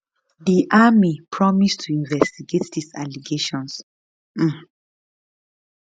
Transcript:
di army promise to investigate di allegations um